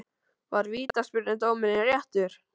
Var vítaspyrnudómurinn réttur?